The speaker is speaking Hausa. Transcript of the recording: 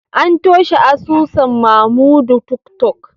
An toshe asusun Mamodu tiktok